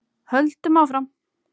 Höldum áfram.